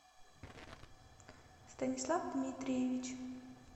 станислав дмитриевич